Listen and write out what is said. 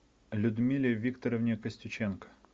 людмиле викторовне костюченко